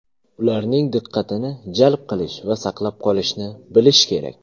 Ularning diqqatini jalb qilish va saqlab qolishni bilish kerak.